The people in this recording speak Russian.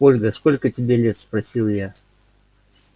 ольга сколько тебе лет спросил я